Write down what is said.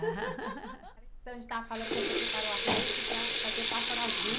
A gente estava falando que você preparou a rede para fazer o Pássaro Azul.